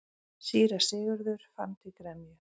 Síra Sigurður fann til gremju.